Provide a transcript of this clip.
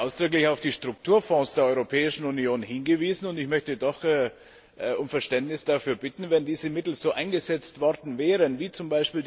Ich habe ausdrücklich auf die Strukturfonds der Europäischen Union hingewiesen. Und ich möchte doch um Verständnis dafür bitten Wenn diese Mittel so eingesetzt worden wären, wie z.